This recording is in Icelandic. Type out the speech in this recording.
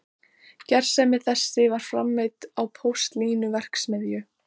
Gersemi þessi var framleidd í postulínsverksmiðju